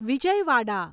Vijayawada